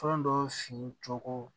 Fɛn dɔ fincoko